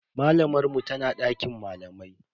Malamar mu tana dakin malamai.